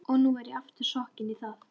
Og nú er ég aftur sokkinn í það.